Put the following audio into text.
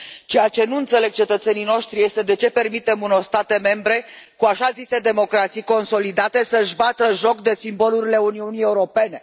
Ceea ce nu înțeleg cetățenii noștri este de ce permitem unor state membre, cu așa zise democrații consolidate, să își bată joc de simbolurile Uniunii Europene.